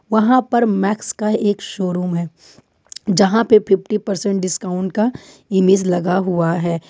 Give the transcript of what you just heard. वहां पर मैक्स का एक शोरूम है यहां पे फिफ्टी परसेंट डिस्काउंट का इमेज लगा हुआ है।